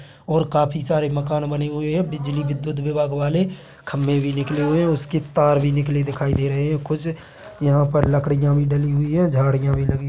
और काफी सारे मकान बने हुए है बिजली विघुत विभाग वाले खम्भे भी निकले हुए है उसकी तार भी निकली दिखाई दे रही है कुछ यहाँ पर लकडियां भी डली हुई है झाडियां भी लगी --